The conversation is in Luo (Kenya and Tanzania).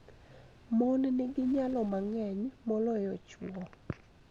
Mon nigi nyalo mang�eny moloyo chwo